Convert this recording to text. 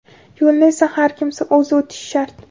Yo‘lni esa har kimsa o‘zi o‘tishi shart.